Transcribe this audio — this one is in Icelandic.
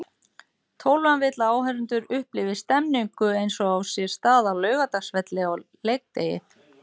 Tólfan vill að áhorfendur upplifi stemningu eins og á sér stað á Laugardalsvelli á leikdegi.